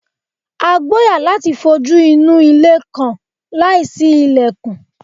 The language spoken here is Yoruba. A gboya lati fojuinu ile kan laisi ilẹkun